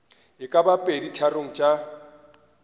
e ka bago peditharong tša